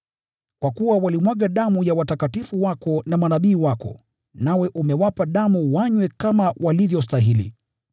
kwa kuwa walimwaga damu ya watakatifu wako na manabii wako, nawe umewapa damu wanywe kama walivyostahili.”